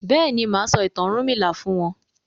béèni má sọ ìtàn ọrunmila fún wón.